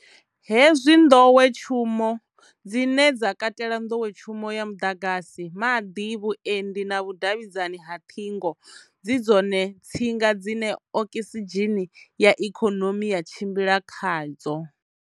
Hezwi nḓowetshumo, dzine dza katela nḓowetshumo ya muḓagasi, maḓi, vhuendi na vhudavhidzani ha ṱhingo, dzi dzone tsinga dzine okisidzheni ya ikonomi ya tshimbila khadzo.